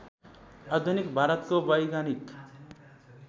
आधुनिक भारतको वैज्ञानिक